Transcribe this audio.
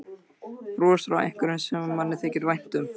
Bros frá einhverjum sem manni þykir vænt um.